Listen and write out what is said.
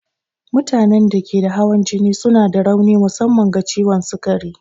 Mutanen da ke da hawan jini suna da rauni musamman ga ciwon sukari.